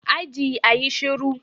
Aji, a yi shiru.